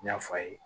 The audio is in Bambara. N y'a f'a ye